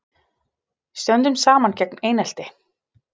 Stöndum saman gegn einelti